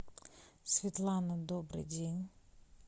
светлана добрый день